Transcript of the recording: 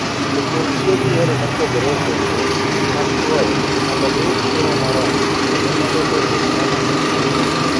Jopur tiyo gi yore mopogore opogore mag chwoyo mondo giyud chiemo moromo kendo mondo lowo obed kama ber.